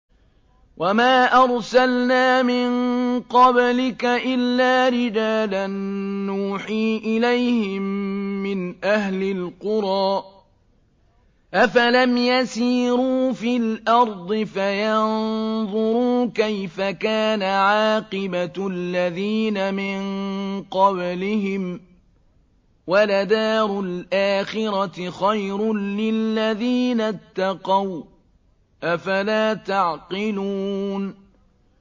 وَمَا أَرْسَلْنَا مِن قَبْلِكَ إِلَّا رِجَالًا نُّوحِي إِلَيْهِم مِّنْ أَهْلِ الْقُرَىٰ ۗ أَفَلَمْ يَسِيرُوا فِي الْأَرْضِ فَيَنظُرُوا كَيْفَ كَانَ عَاقِبَةُ الَّذِينَ مِن قَبْلِهِمْ ۗ وَلَدَارُ الْآخِرَةِ خَيْرٌ لِّلَّذِينَ اتَّقَوْا ۗ أَفَلَا تَعْقِلُونَ